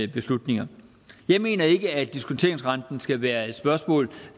beslutninger jeg mener ikke at diskonteringsrenten skal være et spørgsmål